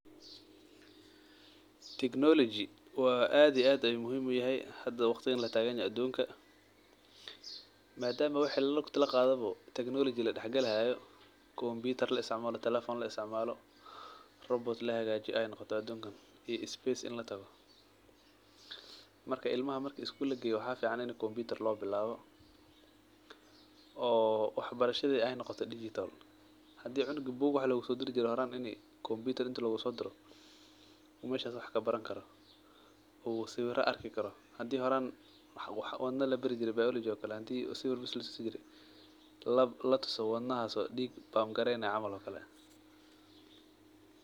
Technology waa aad iyo aad ayu muhiim u yahay hada waqtigan latagan yahay adunka madama lugti laqadhawa Technology ladax gali hayo computer laisticmalo talefon laisticmalo robot lahagajiyo ayey noqote adunkan iyo space in latago marka ilmaha marki iskugu lageyo maxaa fican in computer lo bilawo oo wax barashaadi ee noqoto digital hadii cunugi bug wax logu sodiri jire horan ini combiitar ini logu sodiro u meshas wax kabaran karo u sawiran arki karo hadii horan wax labari jire biology oo kale hadii sawira latusi jire latuso wadnahas oo dig pump gareynayo camal oo kale.